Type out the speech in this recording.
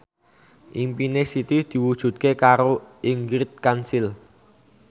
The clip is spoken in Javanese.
impine Siti diwujudke karo Ingrid Kansil